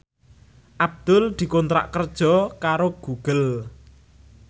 Abdul dikontrak kerja karo Google